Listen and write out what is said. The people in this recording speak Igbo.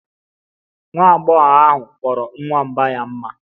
Nwa agbọghọ ahụ kpọrọ nwamba ya mma